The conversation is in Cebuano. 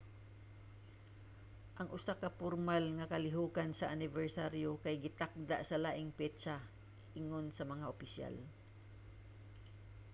ang usa ka pormal nga kalihokan sa anibersaryo kay gitakda sa laing petsa ingon sa mga opisyal